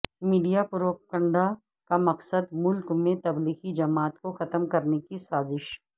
media propaganda کا مقصد ملک میں تبلیغی جماعت کو ختم کرنے کی سازش